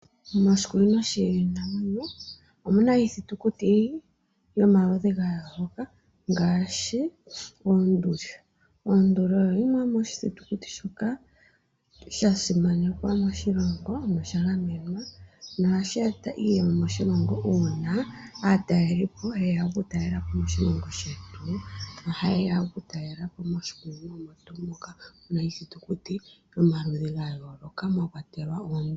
Moshikunino shiinamwenyo omuna iithitikuti yomaludhi ga yooloka ngaashi oonduli. Onduli oyo yimwe yomiithitikuti mbyoka ya simanekwa moshilongo na osha gamenwa, na ohashi eta iiyemo moshilongo uuna aatalelipo yeya okutalelapo moshilongo shetu. Oha yeya okutalelapo moshikunino omo tuu moka muna iithitikuti omaludhi gayooloka mwa kwatelwa oonduli.